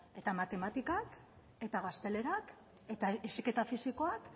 eta matematikak eta gaztelerak eta heziketa fisikoak